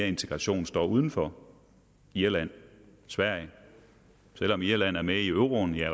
integration står uden for irland sverige selv om irland er med i euroen er